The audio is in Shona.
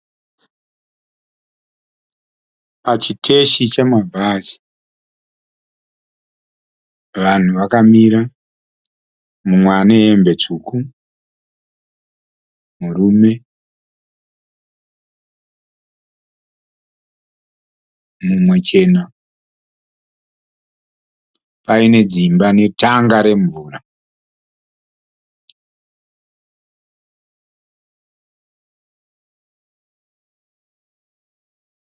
Pachiteshi chemabhazi vanhu vakamira mumwe ane hembe tsvuku murume mumwe chena paine dzimba netanga remvura.